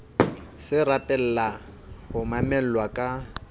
se rapella ho mamelwa ka